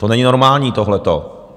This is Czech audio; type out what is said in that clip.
To není normální, tohleto.